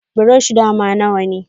Buroshi dama nawane.